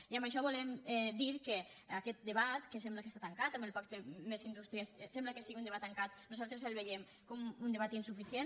i amb això volem dir que aquest debat que sembla que està tancat amb el pacte més indústria sembla que sigui un debat tancat nosaltres el veiem com un debat insuficient